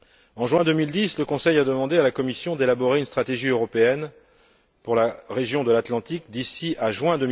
En juin 2010, le Conseil a demandé à la Commission d'élaborer une stratégie européenne pour la région de l'Atlantique d'ici à juin